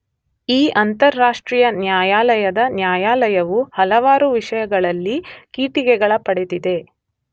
ಈ ಅಂತಾರಾಷ್ಟ್ರೀಯ ನ್ಯಾಯಾಲಯದ ನ್ಯಾಯಾಲಯವು ಹಲವಾರು ವಿಷಯಗಳಲ್ಲಿ ಟೀಕೆಗಳ ಪಡೆದಿದೆ.